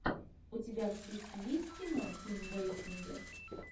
у тебя в списке есть кино ким бейсингер